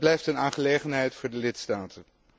Dat blijft een aangelegenheid voor de lidstaten.